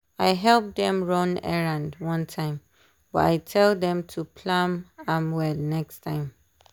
I help them run errand one time but I tell them to plan am well next time.